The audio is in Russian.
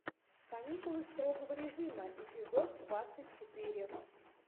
каникулы строгого режима эпизод двадцать четыре